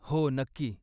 हो, नक्की.